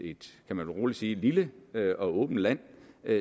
kan man vist roligt sige lille og åbent land